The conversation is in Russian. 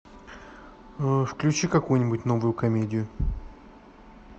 включи какую нибудь новую комедию